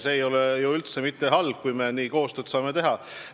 See ei ole üldse mitte halb, kui me niimoodi koostööd saame teha.